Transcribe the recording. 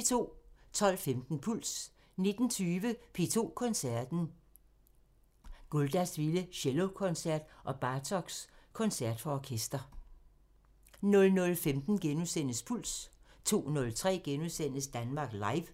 12:15: Puls 19:20: P2 Koncerten – Guldas vilde cellokoncert og Bartoks koncert for orkester 00:15: Puls * 02:03: Danmark Live *